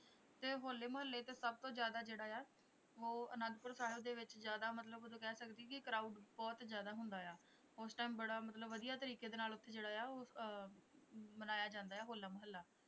ਤੇ ਹੋਲੇ ਮਹੱਲੇ ਚ ਸਭ ਤੋਂ ਜ਼ਿਆਦਾ ਜਿਹੜਾ ਆ ਉਹ ਅਨੰਦਪੁਰ ਸਾਹਿਬ ਦੇ ਵਿੱਚ ਜ਼ਿਆਦਾ ਮਤਲਬ ਉਦੋਂ ਕਹਿ ਸਕਦੇ ਕਿ ਕ੍ਰਾਊਡ ਬਹੁਤ ਜ਼ਿਆਦਾ ਹੁੰਦਾ ਆ ਉਸ ਟਾਈਮ ਬੜਾ ਮਤਲਬ ਵਧੀਆ ਤਰੀਕੇ ਦੇ ਨਾਲ ਉੱਥੇ ਜਿਹੜਾ ਆ ਉਹ ਅਹ ਮਨਾਇਆ ਜਾਂਦਾ ਹੈ ਹੋਲਾ ਮਹੱਲਾ।